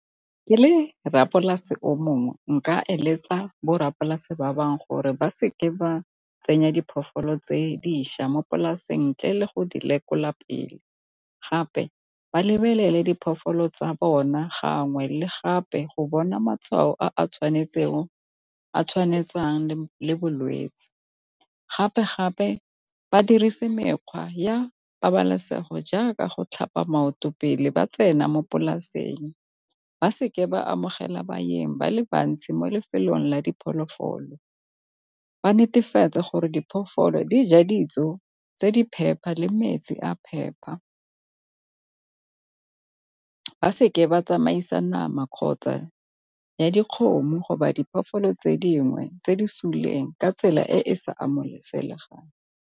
Ke le rra polase o mongwe nka eletsa bo rra polase ba bangwe gore ba seke ba tsenya diphologolo tse dišwa mo polaseng ntle le go di lekola pele, gape ba lebelele diphologolo tsa bona gangwe le gape go bona matshwao a tshwantshetsang le bolwetsi. Gape-gape ba dirise mekgwa ya pabalesego jaaka go tlhapa maoto pele ba tsena mo polaseng, ba seke ba amogela baeng ba le bantsi mo lefelong la diphologolo, ba netefatsa gore diphologolo dija dijo tse di phepa le metsi a phepa, ba seke ba tsamaisa nama kgotsa ya dikgomo diphologolo tse dingwe tse di supileng ka tsela e e sa amogelesegang.